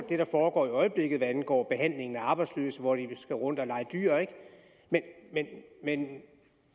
det der foregår i øjeblikket er angår behandlingen af arbejdsløse for de skal tage rundt og lege dyr ikke men